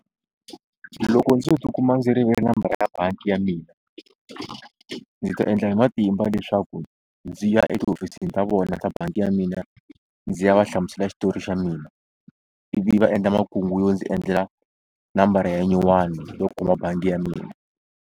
Loko ndzi tikuma ndzi rivele nambara ya bangi ya mina ndzi ta endla hi matimba leswaku ndzi ya etihofisini ta vona ta bangi ya mina ndzi ya va hlamusela xitori xa mina ivi va endla makungu yo ndzi endlela nambara ya nyuwani yo kuma bangi ya mina.